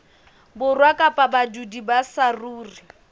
borwa kapa badudi ba saruri